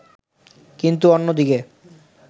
কিন্তু অন্যদিকে